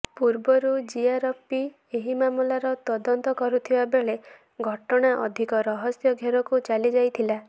ପୂର୍ବରୁ ଜିଆରପି ଏହି ମାମଲାର ତଦନ୍ତ କରୁଥିବା ବେଳେ ଘଟଣା ଅଧିକ ରହସ୍ୟ ଘେରକୁ ଚ ଲି ଯାଇଥିଲା